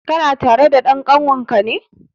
Kana tare da dan kanwar ka ne?